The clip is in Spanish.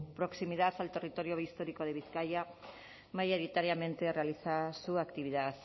proximidad al territorio histórico de bizkaia mayoritariamente realiza su actividad